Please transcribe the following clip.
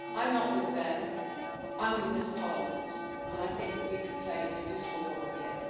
I'm not with them I'm with this parliament, and I think that we could play a useful role